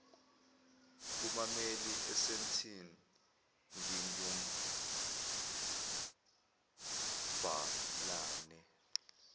kubammeli esandton ngingumabhalane